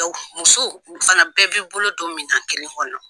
musow u fana bɛɛ bi bolo don minan kelen kɔnɔn.